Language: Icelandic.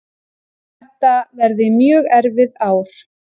Þetta verði mjög erfið ár